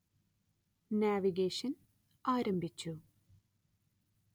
navigation ആരംഭിച്ചു